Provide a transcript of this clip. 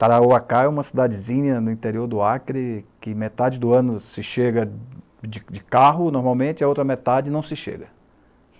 Tarauacá é uma cidadezinha no interior do Acre que metade do ano se chega de de carro, normalmente, a outra metade não se chega.